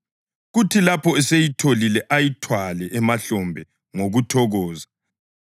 Kuthi lapho eseyitholile ayithwale emahlombe ngokuthokoza